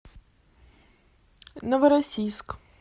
новороссийск